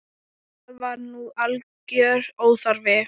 Það var nú algjör óþarfi.